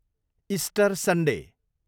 Easter Sunday